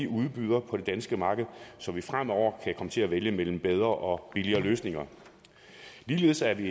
udbyderne på det danske marked så vi fremover kan komme til at vælge mellem bedre og billigere løsninger ligeledes er vi